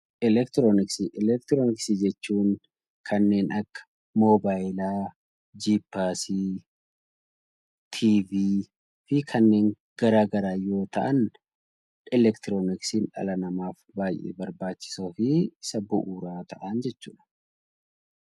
Elektirooniksii Elektirooniksii jechuun kanneen akka Moobaayilaa, Jippaasii, TV fi kanneen gara garaa yoo ta'an elektirooniksiin dhala namaaf baay'ee barbaachisoo fi isa bu'uuraa ta'an jechuu dha.